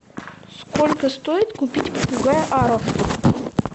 сколько стоит купить попугая ара